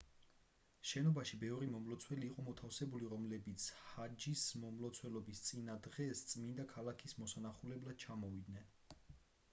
შენობაში ბევრი მომლოცველი იყო მოთავსებული რომლებიც ჰაჯის მომლოცველობის წინა დღეს წმინდა ქალაქის მოსანახულებლად ჩამოვიდნენ